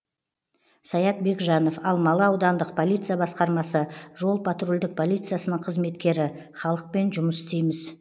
саят бекжанов алмалы аудандық полиция басқармасы жол патрульдік полициясының қызметкері халықпен жұмыс істейміз